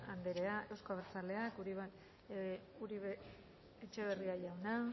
anderea euzko abertzaleak uribe etxeberria jauna